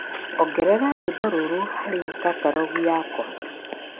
ongeza wimbo huu kwenye katalogi yangu